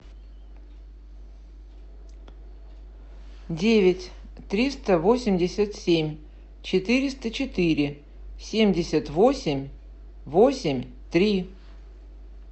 девять триста восемьдесят семь четыреста четыре семьдесят восемь восемь три